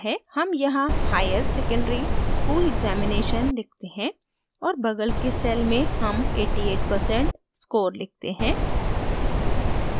हम यहाँ higher secondary school examination लिखते हैं और बगल के cell में हम 88 percent score लिखते हैं